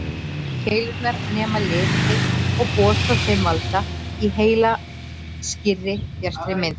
Keilurnar nema liti og boð frá þeim valda í heila skýrri, bjartri mynd.